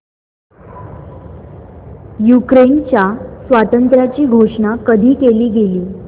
युक्रेनच्या स्वातंत्र्याची घोषणा कधी केली गेली